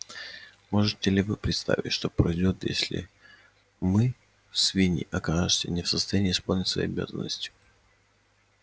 можете ли вы представить что произойдёт если мы свиньи окажемся не в состоянии исполнять свои обязанности